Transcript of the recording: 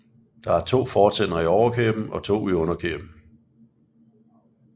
Der er to fortænder i overkæben og to i underkæben